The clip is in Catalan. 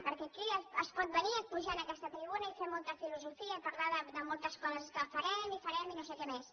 perquè aquí es pot venir pujar a aquesta tribuna i fer molta filosofia i parlar de moltes coses que farem i farem i no sé què mes